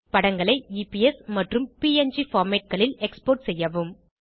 படங்களை எப்ஸ் மற்றும் ப்ங் formatகளில் எக்ஸ்போர்ட் செய்யவும்